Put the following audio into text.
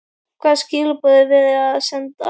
Hvaða skilaboð er verið að senda?